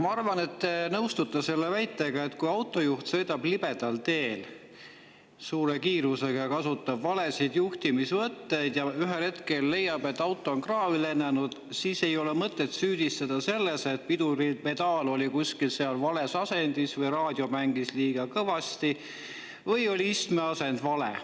Ma arvan, et te nõustute selle väitega, et kui autojuht sõidab libedal teel suure kiirusega, kasutab valesid juhtimisvõtteid ja ühel hetkel leiab, et auto on kraavi lennanud, siis ei ole mõtet süüdistada seda, et piduripedaal oli vales asendis või raadio mängis liiga kõvasti või istme asend oli vale.